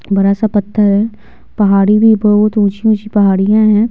बड़ा सा पत्थर है पहाड़ी भी बहुत ऊंची-ऊंची पहाड़ियां हैं।